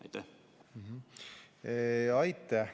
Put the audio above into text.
Aitäh!